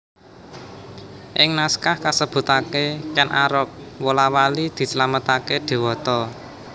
Ing naskah kasebutaké Kèn Arok wola wali dislametaké dewata